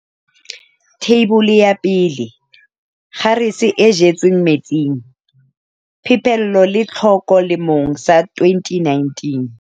Theibole ya 1. Kgarese e jetsweng metsing- Phepelo le Tlhoko lemong sa 2019.